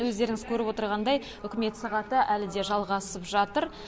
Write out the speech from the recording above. өздеріңіз көріп отырғандай үкімет сағаты әлі де жалғасып жатыр